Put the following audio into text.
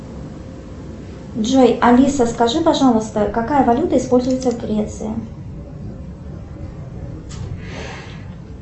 джой алиса скажи пожалуйста какая валюта используется в греции